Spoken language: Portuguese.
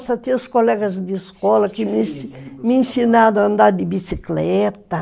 Nossa, tinha os colegas de escola que me me ensinaram a andar de bicicleta.